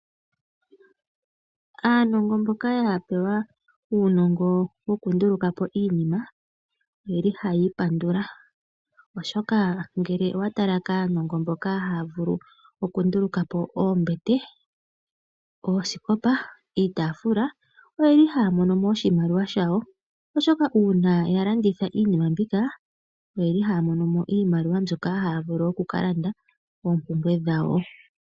Aanongo mboka ya pewa uunongo wokunduluka po iinima oyeli hayi ipandula. Oshoka ngele owatala kaanongo mboka haya vulu okunduluka po oombete, oosikopa, iitafula oyeli haya mono mo oshimaliwa shawo. Oshoka uuna yalanditha iinima mbika oyeli haya mono mo iimaliwa mbyoka haya vulu okukalanda oompumbwe dhawo.